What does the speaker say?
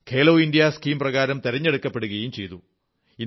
Khelo India scheme പ്രകാരം തിരഞ്ഞെടുക്കപ്പെടുകയും ചെയ്തു